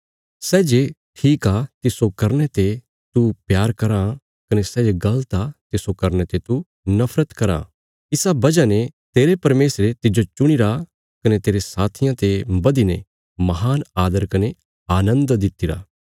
सै जे ठीक आ तिस्सो करने ते तू प्यार कराँ कने सै जे गल़त आ तिस्सो करने ते तू नफरत कराँ इसा वजह ने तेरे परमेशरे तिज्जो चुणीरा कने तेरे साथियां ते बधीने महान आदर कने आनन्द दित्तिरा